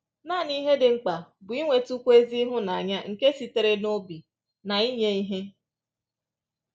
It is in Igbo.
Nanị ihe dị mkpa bụ inwetụkwu ezi ịhụnanya nke sitere n’obi na inye ihe